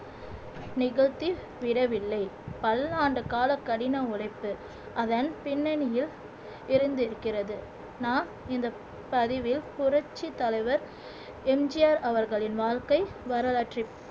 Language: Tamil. நிகழ்த்தி விடவில்லை பல்லாண்டு கால கடின உழைப்பு அதன் பின்னணியில் இருந்திருக்கிறது நாம் இந்த பதிவில் புரட்சித் தலைவர் எம் ஜி ஆர் அவர்களின் வாழ்க்கை வரலாற்றைப்